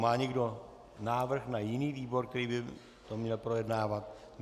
Má někdo návrh na jiný výbor, který by to měl projednávat?